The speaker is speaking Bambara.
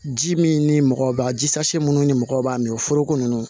Ji min ni mɔgɔ b'a ji sa minnu ni mɔgɔ b'a min foroko ninnu